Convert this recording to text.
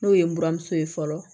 N'o ye n buramuso ye fɔlɔ